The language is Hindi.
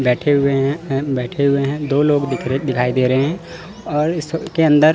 बैठे हुए है बैठे हुए है दो लोग दिख रे दिखाई दे रहे है और इस सब के अंदर--